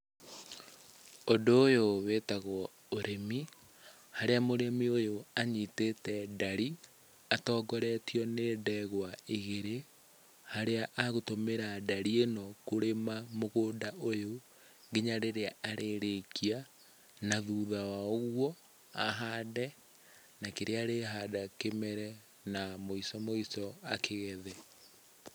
Ũndũ ũyũ wĩtagwo ũrĩmi, harĩa mũrĩmi ũyũ anyitĩte ndari atongoretio nĩ ndegwa igĩrĩ, harĩa agũtũmĩra ndari ĩno kũrĩma mũgũnda ũyũ nginya rĩrĩa arĩrĩkia na thutha wa ũguo ahande na kĩrĩa arĩhanda kĩmere na mũico mũico akĩgethe.